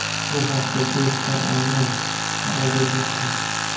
Bu haqda The Star Online xabar bermoqda .